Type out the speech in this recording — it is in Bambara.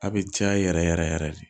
A bɛ caya yɛrɛ yɛrɛ de